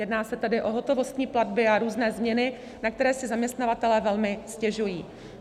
Jedná se tedy o hotovostní platby a různé změny, na které si zaměstnavatelé velmi stěžují.